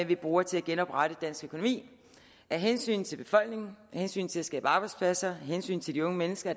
vi bruger til at genoprette dansk økonomi af hensyn til befolkningen af hensyn til at skabe arbejdspladser af hensyn til de unge mennesker